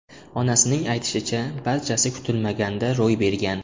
Onasining aytishicha, barchasi kutilmaganda ro‘y bergan.